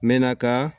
N mɛɛnna ka